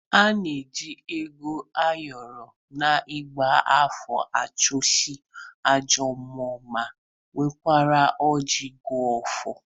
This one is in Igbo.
A na-eji ego ayọrọ n'igba afa achụsasị ajọọ mmụọ ma werekwa ọji gọọ ọfọ.